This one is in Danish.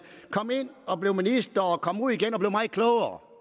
kom ind og blev minister og kom ud igen meget klogere